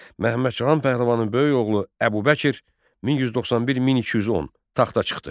Məhəmməd Cahan Pəhləvanın böyük oğlu Əbu Bəkir 1191-1210 taxta çıxdı.